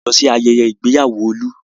A lọ sí ayẹyẹ ìgbéyàwó Olú.